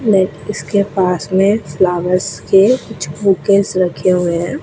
But इसके पास में फ्लावर्स के कुछ बुकेस रखे हुए हैं।